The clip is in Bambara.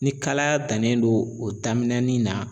Ni kalaya dannen don o daminɛnin na.